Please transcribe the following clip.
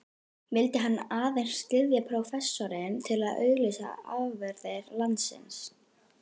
Vildi hann aðeins styðja prófessorinn til að auglýsa afurðir landsins?